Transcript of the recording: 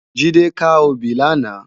Jide kâ óbì làná